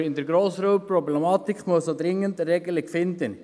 Aber für die Grossraubtierproblematik muss man dringend eine Regelung finden.